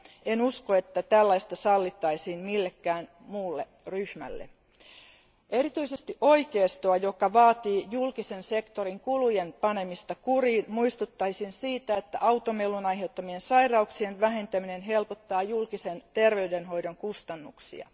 En usko, että tällaista sallittaisiin millekään muulle ryhmälle. Erityisesti oikeistoa, joka vaatii julkisen sektorin kulujen panemista kuriin, muistuttaisin siitä, että automelun aiheuttamien sairauksien vähentäminen helpottaa julkisen terveydenhoidon kustannuksia.